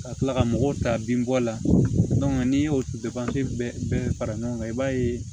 Ka kila ka mɔgɔw ta bin bɔ a la n'i y'o bɛɛ fara ɲɔgɔn kan i b'a ye